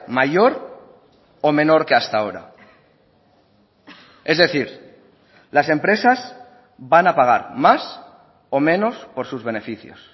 mayor o menor que hasta ahora es decir las empresas van a pagar más o menos por sus beneficios